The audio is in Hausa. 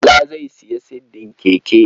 Bala zai sayo siddin keke.